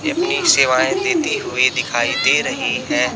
ये अपनी सेवाएं देती हुई दिखाई दे रही है।